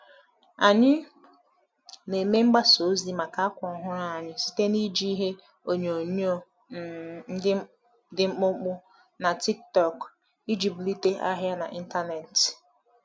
Anyị na-eme mgbasa ozi maka akwa ọhụrụ anyị site n’iji ihe onyoonyo um dị mkpụmkpụ na TikTok iji bulite ahịa n’ịntanetị.